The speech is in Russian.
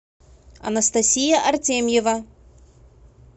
анастасия артемьева